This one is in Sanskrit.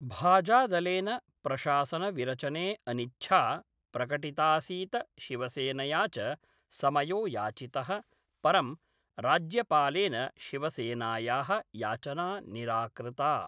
भाजादलेन प्रशासनविरचने अनिच्छा प्रकटितासीत शिवसेनया च समयो याचित: परं राज्यपालेन शिवसेनाया: याचना निराकृता।